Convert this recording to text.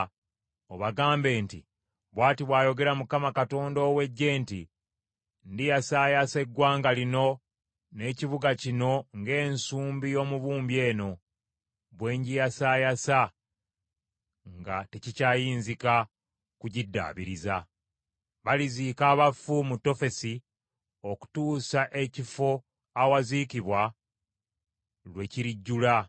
obagambe nti, ‘Bw’ati bw’ayogera Mukama Katonda ow’Eggye nti, Ndiyasaayasa eggwanga lino n’ekibuga kino ng’ensumbi y’omubumbi eno bw’engiyasaayasa nga tekikyayinzika kugiddaabiriza. Baliziika abafu mu Tofesi okutuusa ekifo awaziikibwa lwe kirijjula.